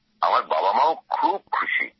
আমার বাবামাও খুব খুশী